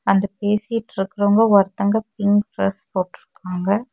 அந்த பேசிட்டு இருக்குறவுங்க ஒருத்தவுங்க பிங்க் ட்ரெஸ் போற்றுக்காங்க.